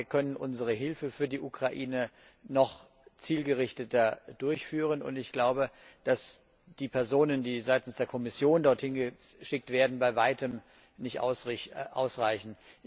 Ich glaube, wir können unsere Hilfe für die Ukraine noch zielgerichteter durchführen, und ich glaube, dass die Personen, die seitens der Kommission dorthin geschickt werden, bei Weitem nicht ausreichen.